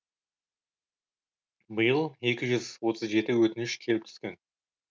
биыл екі жүз отыз жеті өтініш келіп түскен